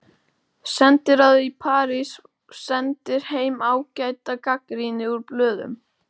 Sendiráðið í París sendir heim ágæta gagnrýni úr blöðum.